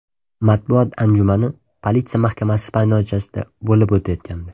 Matbuot anjumani politsiya mahkamasi maydonchasida bo‘lib o‘tayotgandi.